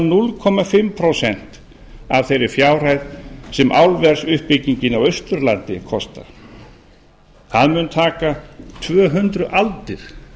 ekki nema hálft prósent af þeirri fjárhæð sem álversuppbyggingin á austurlandi kostar það mun taka tvö hundruð aldir